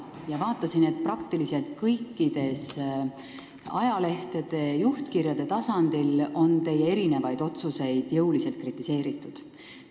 Ma vaatasin, et praktiliselt kõikide ajalehtede juhtkirjade tasandil on teie erinevaid otsuseid jõuliselt kritiseeritud.